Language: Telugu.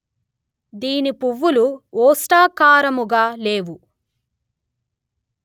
దీని పువ్వులు ఓష్టాకారముగ లేవు